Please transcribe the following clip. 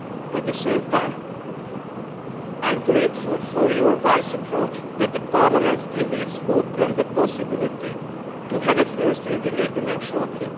At the same time, I am grateful for your wise approach that the Parliament still leaves open the possibility to have a first reading agreement shortly.